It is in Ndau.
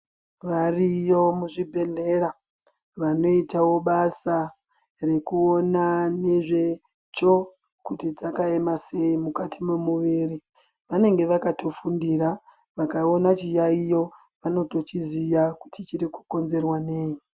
Variyo muzvibhedhlera vanoitawo basa rekuona mamiriro ezveitsvo kuti dzakaema sei mukati memuviri vanenge vakatofundira vakaona chiyaiyo vanotochiziwa kuti chiri kukonzerwa nei.